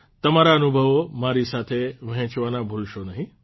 તમારા અનુભવો મારી સાથે વહેંચવાના ભૂલશો નહિં